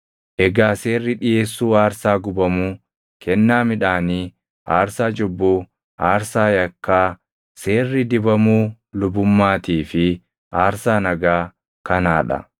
Egaa seerri dhiʼeessuu aarsaa gubamuu, kennaa midhaanii, aarsaa cubbuu, aarsaa yakkaa, seerri dibamuu lubummaatii fi aarsaa nagaa kanaa dha;